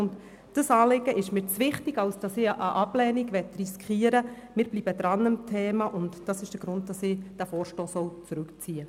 Dieses Anliegen ist mir zu wichtig, als dass wir eine Ablehnung riskieren wollen und darum ziehen wir den Vorstoss zurück.